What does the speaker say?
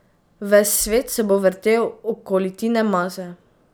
Ves svet se bo vrtel okoli Tine Maze.